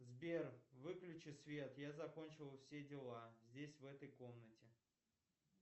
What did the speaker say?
сбер выключи свет я закончил все дела здесь в этой комнате